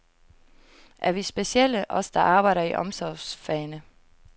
Er vi specielle, os der arbejder i omsorgsfagene?